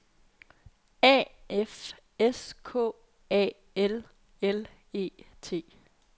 A F S K A L L E T